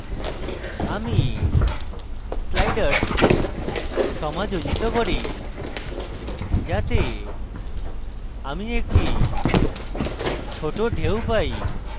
আমি sliders সমাযোজিত করি যাতে আমি ছোট ঢেউ পাই